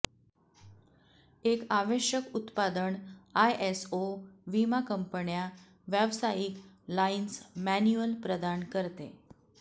एक आवश्यक उत्पादन आयएसओ विमा कंपन्या व्यावसायिक लाइन्स मॅन्युअल प्रदान करते